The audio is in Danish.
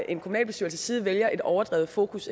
en kommunalbestyrelses side vælger et overdrevet fokus